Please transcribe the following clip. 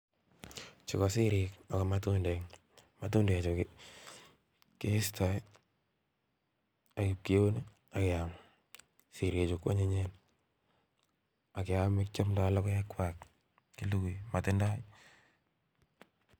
Chu ko sirik ako matundek, matundechu keesto ak ipkiun ak keam. Sirichu kwonyinyen ak keome kiomdo logoekwak kilugui motindo.